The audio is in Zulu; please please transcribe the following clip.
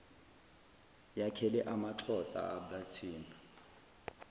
yakhele amaxhosa abathembu